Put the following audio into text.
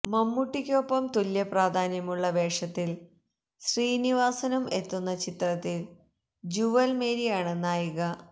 മമ്മൂട്ടിക്കൊപ്പം തുല്യപ്രാധാന്യമുള്ള വേഷത്തില് ശ്രീനിവാസനും എത്തുന്ന ചിത്രത്തില് ജുവല് മേരിയാണ് നായിക